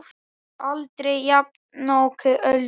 Aldrei jafnoki Öldu.